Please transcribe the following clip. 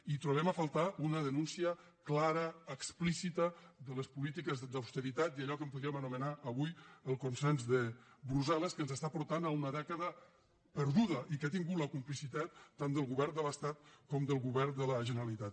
i trobem a faltar una denúncia clara explícita de les polítiques d’austeritat i d’allò que en podríem anomenar avui el consens de brussel·les que ens està portant a una dècada perdu·da i que ha tingut la complicitat tant del govern de l’estat com del govern de la generalitat